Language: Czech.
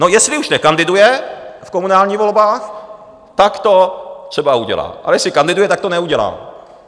No, jestli už nekandiduje v komunálních volbách, tak to třeba udělá, ale jestli kandiduje, tak to neudělá.